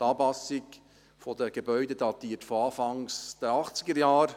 Die Anpassung der Gebäude datiert von Anfang der 1980er-Jahre.